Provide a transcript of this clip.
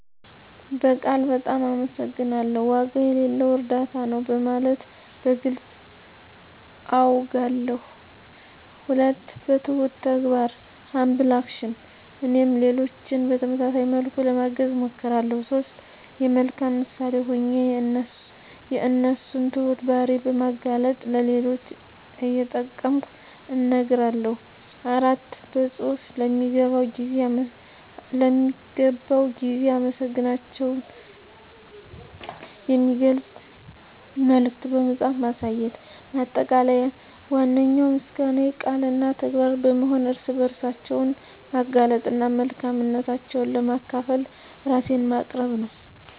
በቃል "በጣም አመሰግናለሁ"፣ "ዋጋ የሌለው እርዳታ ነው" በማለት በግልፅ አውጋለሁ። 2. በትሁት ተግባር (Humble Action) - እኔም ሌሎችን በተመሳሳይ መልኩ ለማገዝ እሞክራለሁ። 3. የመልካም ምሳሌ ሆኜ የእነሱን ትሁት ባህሪ በማላገጥ ለሌሎች እየጠቀምኩ እነግራለሁ። 4. በፅሁፍ ለሚገባው ጊዜ አመሰግናታቸውን የሚገልጽ መልዕክት በመጻፍ ማሳየት። ማጠቃለያ ዋነኛው ምስጋናዬ ቃል እና ተግባር በመሆን ርዕሰ ባህሪያቸውን ማላገጥ እና መልካምነታቸውን ለማካፈል ራሴን ማቅረብ ነው።